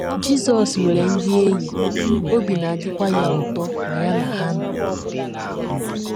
Jizọs nwere ndị enyi, obi na - adịkwa ya ụtọ ma ya na ha nọrọ.